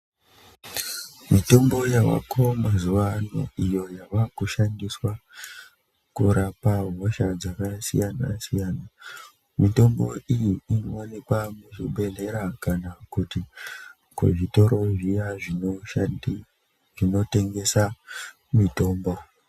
Mitombo yavako mazuva ano iyo yava kushandiswa kurapa hosha dzakasiyana-siyana. Mitombo iyi inovanikwa muzvibhedhlera kana kuti kuzvitoro zviya zvinoshandi zvinotengesa mitombo.